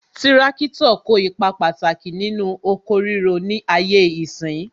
Tirakitọ kó ipa pàtàkì nínú oko ríro ni ayé ìsín